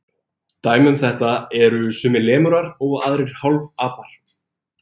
Dæmi um þetta eru sumir lemúrar og aðrir hálfapar.